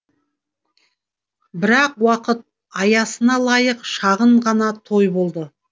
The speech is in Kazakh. бірақ уақыт аясына лайық шағын ғана той болды